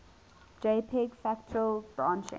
jpg fractal branching